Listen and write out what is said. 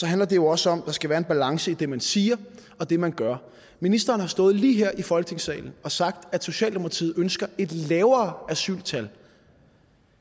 handler det jo også om at der skal være en balance i det man siger og det man gør ministeren har stået lige her i folketingssalen og sagt at socialdemokratiet ønsker et lavere asyltal